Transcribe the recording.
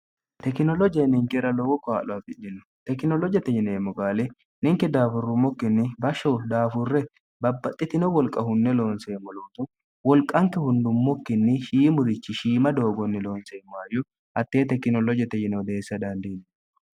tekinoloje ninkera lowo kaa'lo afidino tekinoloojte ineemmo gaali ninke daafurrummokkinni bashsho daafurre babbaxxitino wolqa hunne loonseemmo lootu wolqanke hundummokkinni shiimurichi shiima doogonni loonseemmoayyu attee tekinoloojete jino deessa dandiinno